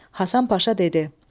Hasan Paşa dedi.